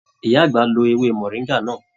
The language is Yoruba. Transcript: Ìyá àgbà lọ ewé moringa náà.